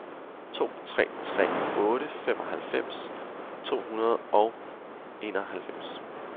to tre tre otte femoghalvfems to hundrede og enoghalvfems